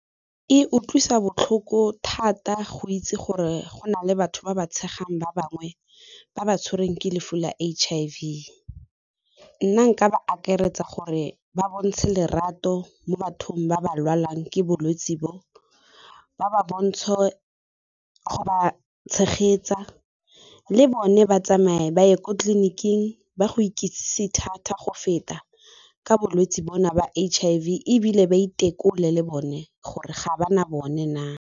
E utlwisa botlhoko thata go itse gore go na le batho ba ba tshegetsang ba bangwe ba ba tshwereng ke lefu la H-I_V, nna nka ba akaretsa gore ba bontshe lerato mo bathong ba ba lwalang ke bolwetse bo, ba ba bontshe go ba tshegetsa le bone ba tsamaye ba ye ko tleliniking ba go ikitsise thata go feta ka bolwetse bona ba H_I_V, ebile ba itekole le bone gore ga ba na bone na.